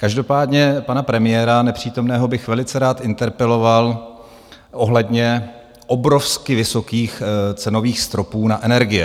Každopádně pana premiéra nepřítomného bych velice rád interpeloval ohledně obrovsky vysokých cenových stropů na energie.